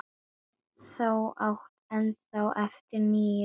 Þú átt ennþá eftir níu stundir Ísbjörg.